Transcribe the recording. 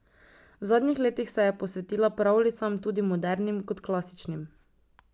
V zadnjih letih se je posvetila pravljicam, tako modernim kot klasičnim.